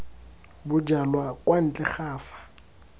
bojalwa kwa ntle ga fa